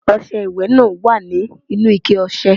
Ọṣẹ ìwẹ̀ náà wà nínú ikẹ ọṣẹ.